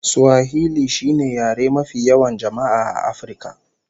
Swahili shine yare mafi yawan jama'a A afirka